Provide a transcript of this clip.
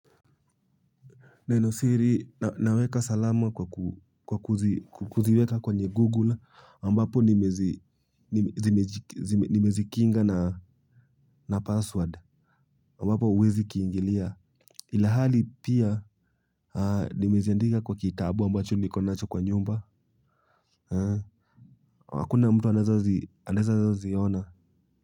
Nenosiri, naweka salama kwa kuziweka kwenye Google ambapo nimezikinga na password ambapo huwezi kiingilia ilhali pia nimeziandika kwa kitabu ambacho niko nacho kwa nyumba, hakuna mtu anaeza ziona.